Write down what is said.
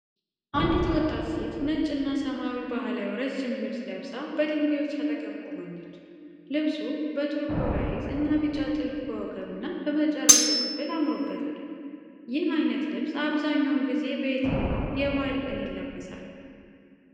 አንዲት ወጣት ሴት ነጭ እና ሰማያዊ ባህላዊ ረዥም ልብስ ለብሳ በድንጋዮች አጠገብ ቆማለች። ልብሱ በቱርኩዋይዝ እና ቢጫ ጥልፍ በወገብ እና በመጨረሻው ክፍል አምሮበታል። ይህ አይነት ልብስ አብዛኛውን ጊዜ በየትኛው የበዓል ቀን ይለበሳል?